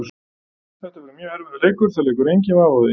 Þetta verður mjög erfiður leikur, það liggur enginn vafi á því.